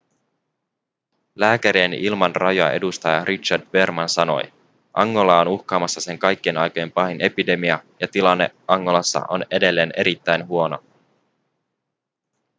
lääkärien ilman rajoja edustaja richard veerman sanoi angolaa on uhkaamassa sen kaikkien aikojen pahin epidemia ja tilanne angolassa on edelleen erittäin huono